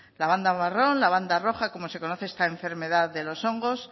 la banda marrón la banda roja como se conoce esta enfermedad de los hongos